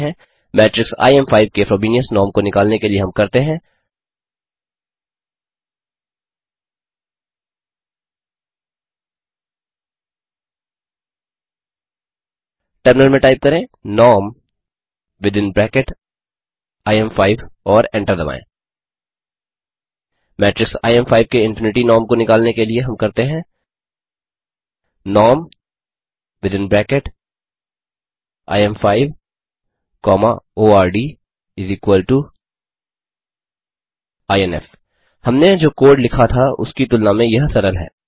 matrix इम5 के Frobenius norm को निकालने के लिए हम करते हैं टर्मिनल में टाइप करें नॉर्म विथिन ब्रैकेट इम5 और एंटर दबाएँ मेट्रिक्स इम5 के इन्फिनिटी नॉर्म को निकालने के लिए हम करते हैं नॉर्म विथिन ब्रैकेट im5ordinf हमने जो कोड लिखा था उसकी तुलना में यह सरल है